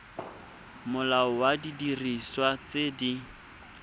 molao wa didiriswa tse di